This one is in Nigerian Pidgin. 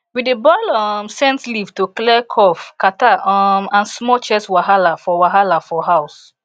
we dey boil um scent leaf to clear cough catarrh um and small chest wahala for wahala for house